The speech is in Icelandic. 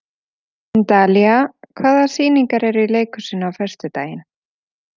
Dalía, hvaða sýningar eru í leikhúsinu á föstudaginn?